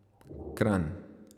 Kranj.